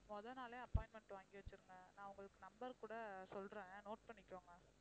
முதல் நாளே appointment வாங்கி வச்சிருங்க நான் உங்களுக்கு number கூட சொல்றேன் note பண்ணிக்கோங்க